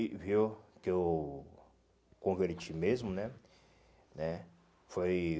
E viu que eu converti mesmo, né? Né foi